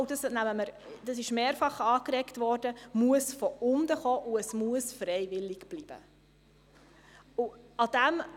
Zudem wurde mehrfach angeregt, dass es von unten kommen und freiwillig bleiben muss.